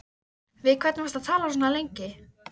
Við hvern varstu að tala svona lengi?